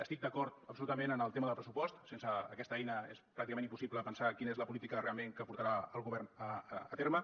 estic d’acord absolutament en el tema del pressupost sense aquesta eina és pràcticament impossible pensar quina és la política realment que portarà el govern a terme